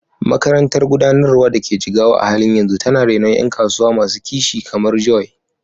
Makarantar Gudanarwa da ke Jigawa a halin yanzu tana renon ƴan kasuwa masu kishi kamar Joy.